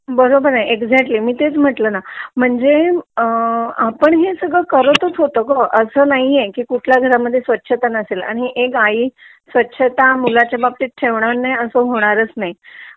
बरोबर आहे ईकझॅक्टली मी तेच म्हटलं ना म्हणजे आपण हे सगळं करतच होतो ग असा नाहीये की कुठल्या घर मध्ये स्वच्छता नसेल कारण एक आई स्वच्छता मुलाच्या बाबतीत ठेवणार नाही हे असा होणारच नाही